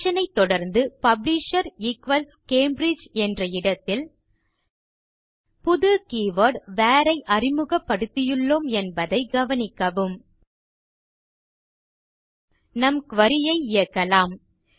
condition ஐ தொடர்ந்து publisher equals Cambridge என்ற இடத்தில் புது கீவர்ட் வேர் ஐ அறிமுகப்படுத்தியுள்ளோம் என்பதை கவனிக்கவும் நம் குரி ஐ இயக்கலாம்